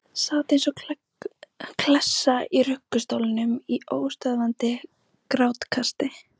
Sat eins og klessa í ruggustólnum í óstöðvandi grátkasti.